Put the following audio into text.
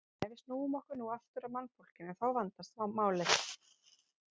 En ef við snúum okkur nú aftur að mannfólkinu þá vandast málið.